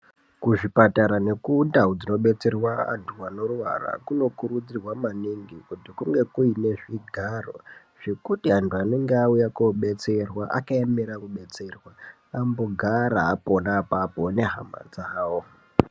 Kuzvipatara nekundau dzinobetserwa antu anorwara, kunokurudzirwa maningi kuti kunge kuine zvigaro zvekuti antu anonga auye koobetserwa akaemera kubetserwa, ambogara apapo nehama dzawo.